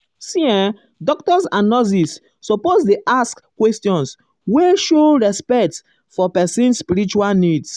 see[um]doctors and nurses suppose dey ask um questions wey show respect for um person spiritual needs.